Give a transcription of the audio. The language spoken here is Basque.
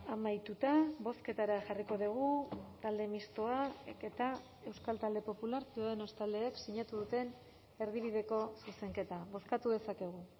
amaituta bozketara jarriko dugu talde mistoak eta euskal talde popular ciudadanos taldeek sinatu duten erdibideko zuzenketa bozkatu dezakegu